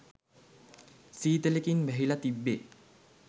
සීතලකින් වැහිලා තිබ්බෙ.